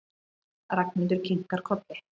Ragnhildur kinkar kolli.